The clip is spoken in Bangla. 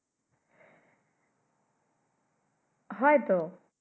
হয় তো